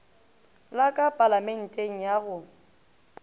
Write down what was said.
la ka palamenteng ya go